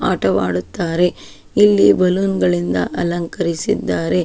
ಆಟವಾಡುತ್ತಾರೆ ಇಲ್ಲಿ ಬಲೂನ್ ಗಳಿಂದ ಅಲಂಕರಿಸಿದ್ದಾರೆ-